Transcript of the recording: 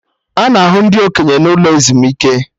Ana ahụ ndị okenye n'ụlọ ezumike